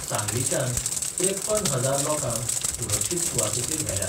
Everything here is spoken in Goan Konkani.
सांगलीच्यान त्रेप्पन हजार लोकांक सुरक्षीत सुवातेचेर व्हेल्यात.